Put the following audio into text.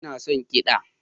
Ina son kiɗa